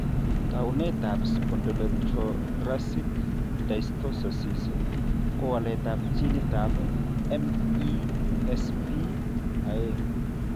Taunetab Spondylothoracic dysostosis ko waletab ginitab MESP2.